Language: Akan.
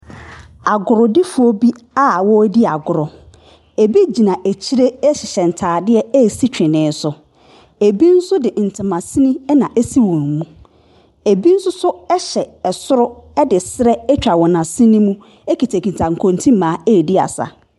Agordifoɔ bi ɛredi agorɔ, bi gyina akyire hyehyɛ ntaadeɛ ɛresi tweneɛ so, bi nso de ntomasini na asi wɔn mu, bi nso hyɛ soro de serɛ atwa wɔn asene mu kitakita nkonti mmaa ɛredi agorɔ.